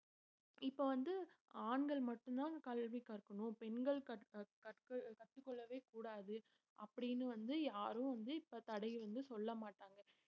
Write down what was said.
இப்ப வந்து ஆண்கள் மட்டும்தான் கல்வி கற்கணும் பெண்கள் கற்~ அஹ் கற்று கற்றுக்கொள்ளவே கூடாது அப்படின்னு வந்து யாரும் வந்து இப்ப தடையை வந்து சொல்லமாட்டாங்க